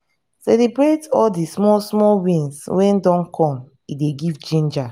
celebrate all di small small wins when dem come e dey give ginger